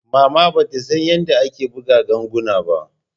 Mama bata san yanda ake buga ganguna ba.